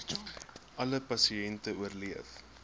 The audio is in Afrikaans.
alle pasiënte oorleef